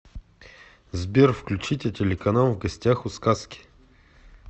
сбер включите телеканал в гостях у сказки